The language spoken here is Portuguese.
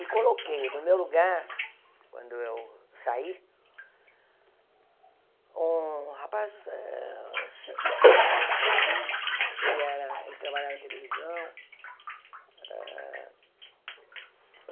E coloquei no meu lugar, quando eu saí, um rapaz, eh foi cineasta aqui, ele era ele trabalhava em televisão. Eh